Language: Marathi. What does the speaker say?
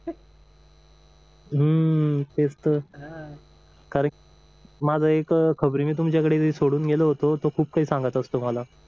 हम्म तेच तर कारण माझा एक खबरी मी तुमच्याकडे सोडून गेलो होतो तो खूप काही सांगत असतो मला